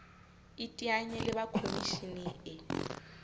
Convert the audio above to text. iteanye le ba khomishene e